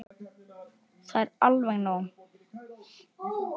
Það er alveg nóg.